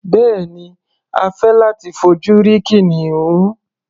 Bẹ́ẹ̀ni, a fẹ́ láti fojú rí kìnìún.